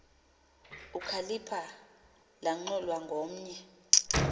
ukhalipha lanxulwa ngomnye